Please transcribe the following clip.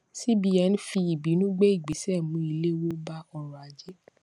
cbn fi ìbínú gbé ìgbésè mú ìléwó bá ọrò ajé